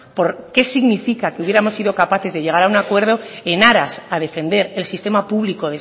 porque significa que hubiéramos sido capaces de llegar a un acuerdo en aras a defender el sistema público